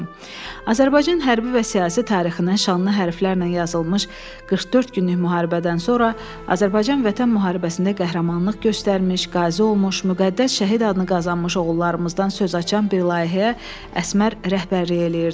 Azərbaycan hərbi və siyasi tarixində şanlı hərflərlə yazılmış 44 günlük müharibədən sonra Azərbaycan Vətən Müharibəsində qəhrəmanlıq göstərmiş, qazi olmuş, müqəddəs şəhid adını qazanmış oğullarımızdan söz açan bir layihəyə Əsmər rəhbərlik eləyirdi.